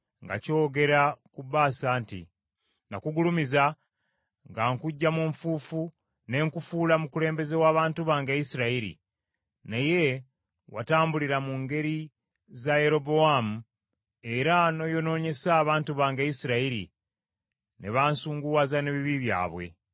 “Nakugulumiza nga nkuggya mu nfuufu ne nkufuula mukulembeze w’abantu bange Isirayiri, naye watambulira mu ngeri za Yerobowaamu era n’oyonoonyesa abantu bange Isirayiri, ne bansunguwaza n’ebibi byabwe.